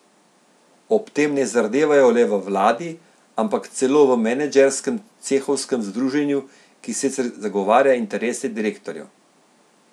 Ob tem ne zardevajo le v vladi, ampak celo v menedžerskem cehovskem združenju, ki sicer zagovarja interese direktorjev.